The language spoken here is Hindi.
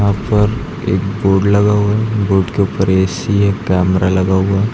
ऊपर एक बोड लगा हुआ है बोड के ऊपर ए_सी एक कैमरा लगा हुआ है।